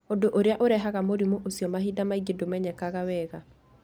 Ũndũ ũrĩa ũrehaga mũrimũ ũcio mahinda maingĩ ndũmenyekaga wega.